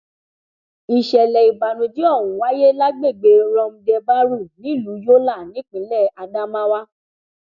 ìṣẹlẹ ìbànújẹ ọhún wáyé lágbègbè rumdebárù nílùú yọlá nípínlẹ adamawa